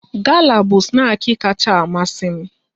Gala bụ snaki kacha amasi m